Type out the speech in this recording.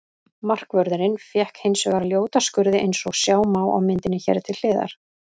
Markvörðurinn fékk hins vegar ljóta skurði eins og sjá má á myndinni hér til hliðar.